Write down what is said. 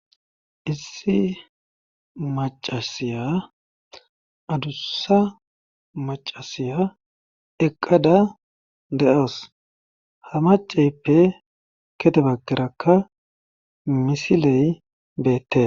Issi maccasiya adussa maccasiya eqqada de7aws ha macceeppe gede baggarakka misiley beetee.